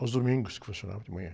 Aos domingos que funcionava, de manhã.